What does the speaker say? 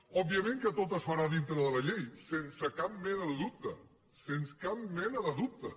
òbviament que tot es farà dintre de la llei sense cap mena de dubte sense cap mena de dubte